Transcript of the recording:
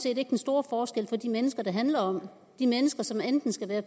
ikke den store forskel for de mennesker det handler om de mennesker som enten skal være